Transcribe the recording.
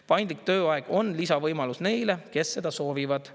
Paindlik tööaeg on lisavõimalus neile, kes seda soovivad.